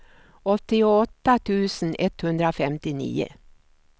åttioåtta tusen etthundrafemtionio